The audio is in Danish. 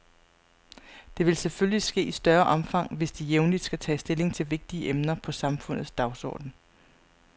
Det vil selvfølgelig ske i større omfang, hvis de jævnligt skal tage stilling til vigtige emner på samfundets dagsorden.